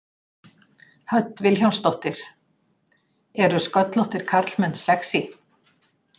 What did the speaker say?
Hödd Vilhjálmsdóttir: Eru sköllóttir karlmenn sexý?